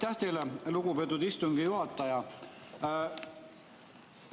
Aitäh teile, lugupeetud istungi juhataja!